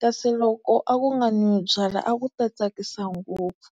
kasi loko a ku nga nwiwi byala a ku ta tsakisa ngopfu.